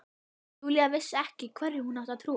Júlía vissi ekki hverju hún átti að trúa.